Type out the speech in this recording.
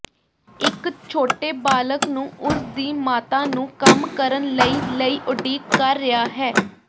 ਇੱਕ ਛੋਟੇ ਬਾਲਕ ਨੂੰ ਉਸਦੀ ਮਾਤਾ ਨੂੰ ਕੰਮ ਕਰਨ ਲਈ ਲਈ ਉਡੀਕ ਕਰ ਰਿਹਾ ਹੈ